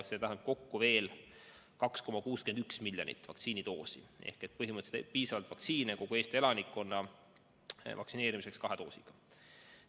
See tähendab kokku veel 2,61 miljonit vaktsiinidoosi ehk põhimõtteliselt piisavalt vaktsiini kogu Eesti elanikkonna vaktsineerimiseks kahe doosiga.